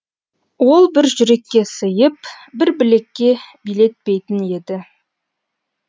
ол бір жүрекке сиып бір білекке билетпейтін еді